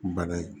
Bana ye